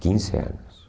Quinze anos.